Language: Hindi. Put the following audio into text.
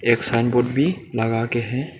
एक साइन बोर्ड भी लगाके है।